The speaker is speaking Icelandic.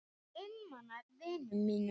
Einmana vinum mínum.